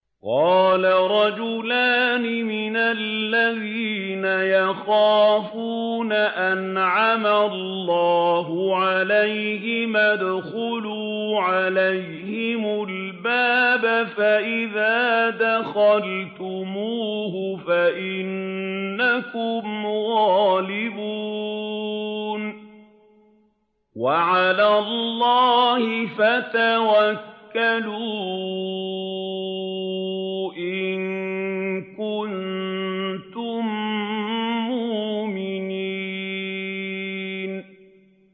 قَالَ رَجُلَانِ مِنَ الَّذِينَ يَخَافُونَ أَنْعَمَ اللَّهُ عَلَيْهِمَا ادْخُلُوا عَلَيْهِمُ الْبَابَ فَإِذَا دَخَلْتُمُوهُ فَإِنَّكُمْ غَالِبُونَ ۚ وَعَلَى اللَّهِ فَتَوَكَّلُوا إِن كُنتُم مُّؤْمِنِينَ